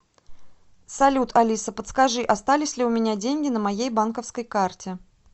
салют алиса подскажи остались ли у меня деньги на моей банковской карте